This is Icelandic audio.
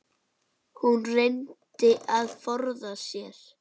Hún reyndi að forða sér.